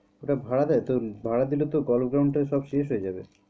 ওটা ভাড়া দেয়? তো ভাড়া দিলে তো golf ground এর সব শেষ হয়ে যাবে।